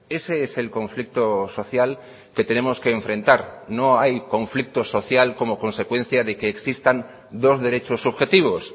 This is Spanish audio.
ese es el conflicto social que tenemos que enfrentar no hay conflicto social como consecuencia de que existan dos derechos subjetivos